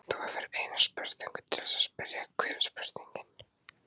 Þú hefur eina spurningu til þess að spyrja, hver er spurningin?